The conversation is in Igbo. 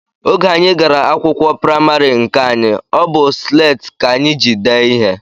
Oge anyị gara akwụkwọ praịmarị nke anyị, ọ bụ sleeti ka anyị ji dee ihe